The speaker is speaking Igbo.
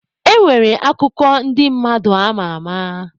E nwere akụkọ ndị mmadụ ama ama.